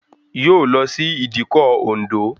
Yóò lọ sí ìdíkọ̀ Òǹdó